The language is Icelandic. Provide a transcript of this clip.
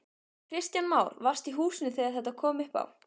Kristján Már: Varstu í húsinu þegar þetta kom upp á?